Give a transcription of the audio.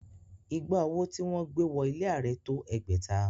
Ìgbà owó tí wọ́n gbé wọ ilé Ààrẹ tó ẹgbẹ̀ta